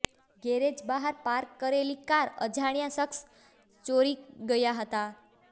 garage બહાર park કરેલી car અજાણ્યા શખસ ચોરી ગયા હતા